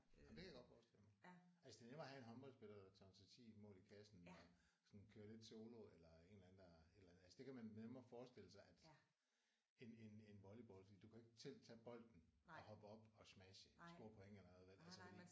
Jamen det kan jeg godt forestille mig. Altså det er nemmere at have en håndboldspiller der tonser 10 mål i kassen og sådan kører lidt solo eller en eller anden der et eller andet. Altså det kan man nemmere forestille sig at end end end volleyball fordi du kan ikke selv tage bolden og hoppe op og smashe score point eller hvad ved altså